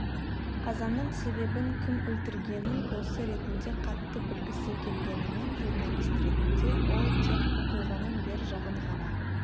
қазаның себебін кім өлтіргенін досы ретінде қатты білгісі келгенімен журналист ретінде ол тек оқиғаның бер жағын ғана